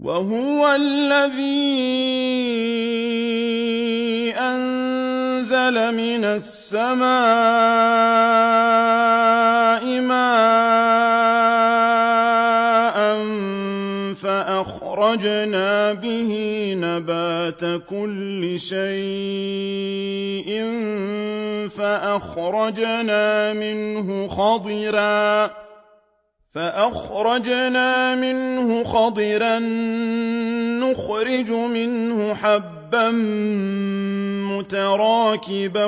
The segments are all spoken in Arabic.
وَهُوَ الَّذِي أَنزَلَ مِنَ السَّمَاءِ مَاءً فَأَخْرَجْنَا بِهِ نَبَاتَ كُلِّ شَيْءٍ فَأَخْرَجْنَا مِنْهُ خَضِرًا نُّخْرِجُ مِنْهُ حَبًّا مُّتَرَاكِبًا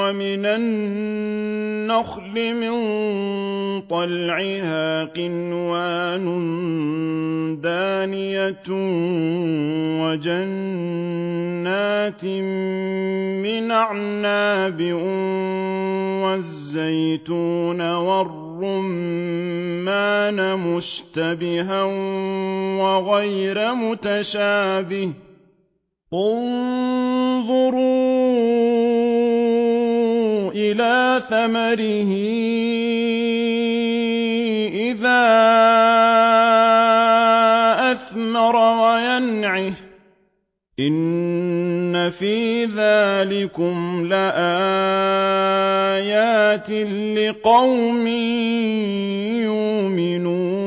وَمِنَ النَّخْلِ مِن طَلْعِهَا قِنْوَانٌ دَانِيَةٌ وَجَنَّاتٍ مِّنْ أَعْنَابٍ وَالزَّيْتُونَ وَالرُّمَّانَ مُشْتَبِهًا وَغَيْرَ مُتَشَابِهٍ ۗ انظُرُوا إِلَىٰ ثَمَرِهِ إِذَا أَثْمَرَ وَيَنْعِهِ ۚ إِنَّ فِي ذَٰلِكُمْ لَآيَاتٍ لِّقَوْمٍ يُؤْمِنُونَ